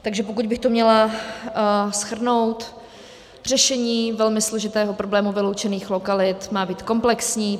Takže pokud bych to měla shrnout, řešení velmi složitého problému vyloučených lokalit má být komplexní.